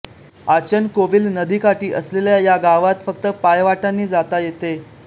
आचनकोविल नदीकाठी असलेल्या या गावाला फक्त पायवाटांनी जाता येते